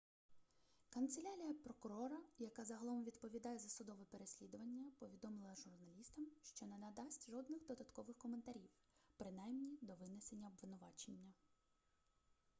канцелярія прокурора яка загалом відповідає за судове переслідування повідомила журналістам що не надасть жодних додаткових коментарів принаймні до винесення обвинувачення